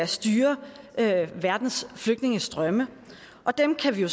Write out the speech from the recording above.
styrer verdens flygtningestrømme og dem kan vi jo